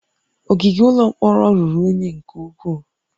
Ogige ụlọ mkpọrọ ruru unyi nke ukwuu